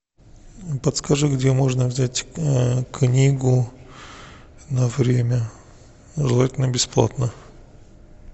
подскажи где можно взять книгу на время желательно бесплатно